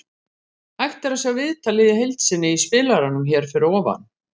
Hægt er að sjá viðtalið í heild sinni í spilaranum hér fyrir ofan.